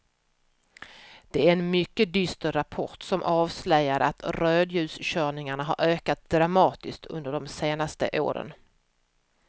Det är en mycket dyster rapport som avslöjar att rödljuskörningarna har ökat dramatiskt under de senaste åren.